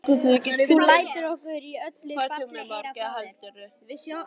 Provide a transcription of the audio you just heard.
Þú lætur okkur í öllu falli heyra frá þér.